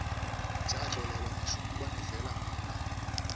tša tlolelwa mešunkwane fela monna